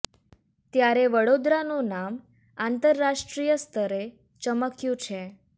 ત્યારે વડોદરા નું નામ આંતર રાષ્ટ્રીય સ્તરે ચમક્યું છે